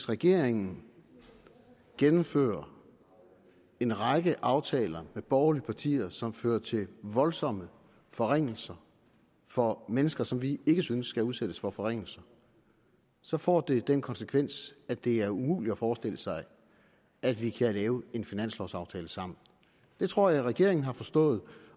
regeringen gennemfører en række aftaler med borgerlige partier som fører til voldsomme forringelser for mennesker som vi ikke synes skal udsættes for forringelser så får det den konsekvens at det er umuligt at forestille sig at vi kan lave en finanslovaftale sammen det tror jeg regeringen har forstået